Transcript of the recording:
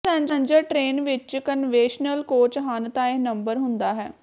passenger train ਵਿੱਚ conventional coach ਹਨ ਤਾਂ ਇਹ ਨੰਬਰ ਹੁੰਦਾ ਹੈ